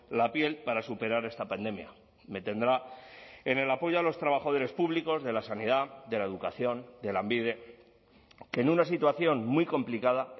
la piel para superar esta pandemia me tendrá en el apoyo a los trabajadores públicos de la sanidad de la educación de lanbide que en una situación muy complicada